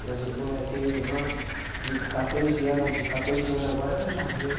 Minhas irmã, eu tenho uma irmã de catorze ano, a de catorze ano, agora ela já rima.